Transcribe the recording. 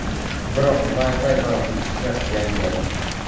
Biroq Wi-Fi va Bluetooth’ni yangiladi.